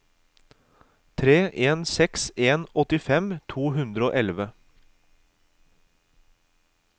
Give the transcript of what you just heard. tre en seks en åttifem to hundre og elleve